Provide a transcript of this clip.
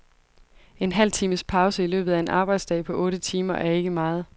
En halv times pause i løbet af en arbejdsdag på otte timer er ikke meget.